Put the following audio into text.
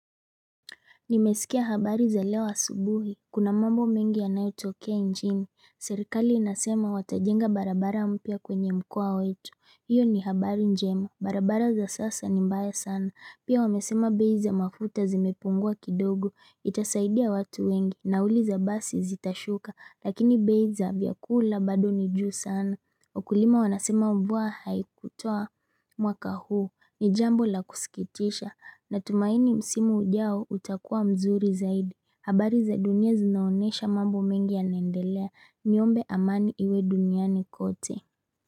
Nimesikia habari za leo asubuhi, kuna mambo mengi yanayotokea nchini, serikali inasema watajenga barabara mpya kwenye mkoa wetu, iyo ni habari njema, barabara za sasa ni mbaya sana, pia wamesema bei za mafuta zimepungua kidogo, itasaidia watu wengi, na uli za basi zitashuka, lakini beiza vyakula bado ni juu sana. Wakulima wanasema mvua haikutoa mwaka huu ni jambo la kusikitisha na tumaini msimu ujao utakuwa mzuri zaidi. Habari za dunia zinaonesha mambo mengi ya naendelea niombe amani iwe duniani kote.